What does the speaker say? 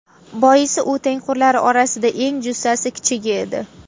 Boisi u tengqurlari orasida eng jussasi kichigi edi.